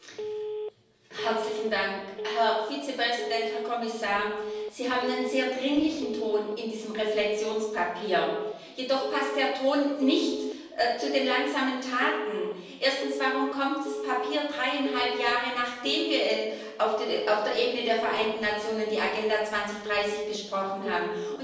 Frau Präsidentin! Herr Vizepräsident, Herr Kommissar, Sie haben einen sehr dringlichen Ton in diesem Reflektionspapier, jedoch passt der Ton nicht zu den langsamen Taten. Erstens Warum kommt das Papier dreieinhalb Jahre nachdem wir auf der Ebene der Vereinten Nationen die Agenda 2030 besprochen haben?